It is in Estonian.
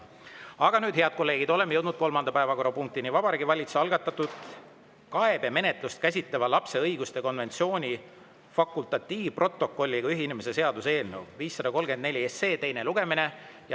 Aga nüüd, head kolleegid, oleme jõudnud kolmanda päevakorrapunktini: Vabariigi Valitsuse algatatud kaebemenetlust käsitleva lapse õiguste konventsiooni fakultatiivprotokolliga ühinemise seaduse eelnõu 534 teine lugemine.